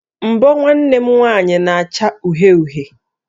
Mbọ̀ nwanne m nwanyị na-acha uhie uhie